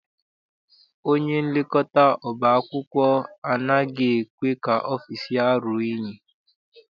Onyenlekọta ọba akwụkwọ anaghị ekwe ka ọfịịsi ya ruo unyi.